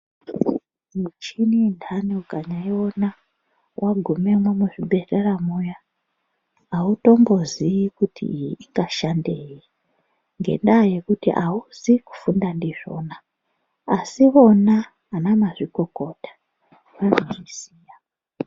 Muchini inhani ukanyaiona waguma muzvibhedhlera muyaa autombozii kuti ingashandei ngendaa yekuti auzi kufunda ndizvona. Asi vona anamazvikokota vanozviziya.